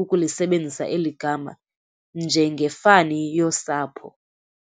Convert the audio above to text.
ukulisebenzisa eligama njengefani yosapho.